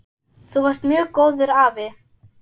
Þú varst mjög góður afi.